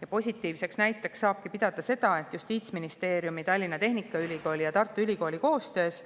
Ja positiivseks näiteks saab pidada seda, et Justiitsministeeriumi, Tallinna Tehnikaülikooli ja Tartu Ülikooli koostöös